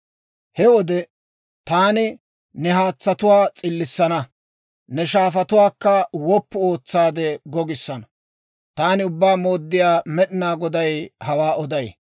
He wode taani ne haatsatuwaa s'illissana; ne shaafatuwaakka woppu ootsaade gogissana. Taani Ubbaa Mooddiyaa Med'inaa Goday hawaa oday.